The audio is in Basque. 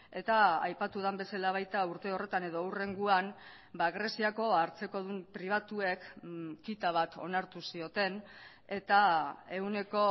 eta aipatu den bezala baita urte horretan edo hurrengoan greziako hartzekodun pribatuek kita bat onartu zioten eta ehuneko